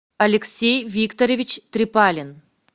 алексей викторович трипалин